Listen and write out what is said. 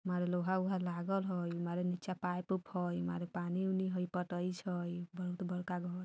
मारे लोहा-वोहा लागल हई मारे नीचे पाइप - उप हई मारे पानी-वानी हइ पटै छई बहुत बड़का घर --